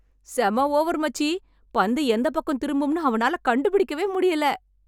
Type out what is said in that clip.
செம்ம ஓவர், மச்சி. பந்து எந்தப் பக்கம் திரும்பும்னு அவனால கண்டுபிடிக்கவே முடியல.